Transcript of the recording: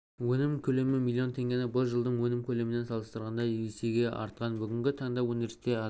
өнім көлемі миллион теңге бұл жылдың өнім көлемімен салыстырғанда есеге артқан бүгінгі таңда өндірісте адам